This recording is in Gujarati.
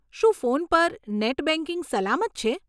શું ફોન પર નેટ બેંકિંગ સલામત છે?